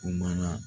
Kumana